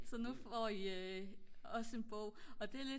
så nu får I også en bog og det er lidt